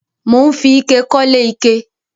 Mò ń fi ike kọ́lé ike